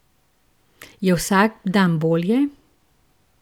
Je vsak dan bolje?